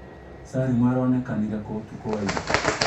Salim aronekanire kũ ũtukũ wa ĩra